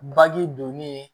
Baji donni